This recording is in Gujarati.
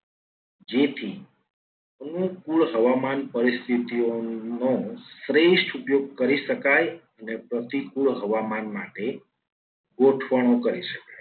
જેથી અનુકૂળ હવામાન પરિસ્થિતિઓ નો શ્રેષ્ઠ ઉપયોગ કરી શકાય. અને પ્રતિકૂળ હવામાન માટે ગોઠવણું કરી શકાય.